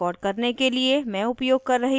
इस tutorial को record करने के लिए मैं उपयोग कर रही हूँ